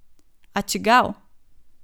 A čigav?